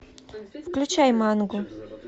включай мангу